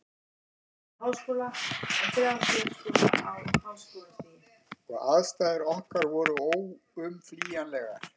Og aðstæður okkar voru óumflýjanlegar.